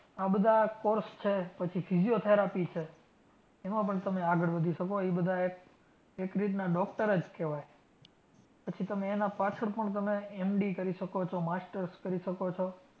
આ બધા course છે. પછી physiotherapy છે. એમાં પણ તમે આગળ વધી શકો ઈ બધાં એક એક રીતના doctor જ કહેવાય. પછી એના પાછળ પણ તમે MD કરી શકો છો. masters કરી શકો છો.